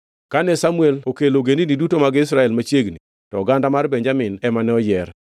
Kane Samuel okelo ogendini duto mag Israel machiegni, to oganda mar Benjamin ema ne oyier.